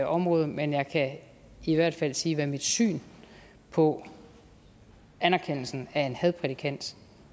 område men jeg kan i hvert fald sige hvad mit syn på anerkendelsen af en hadprædikant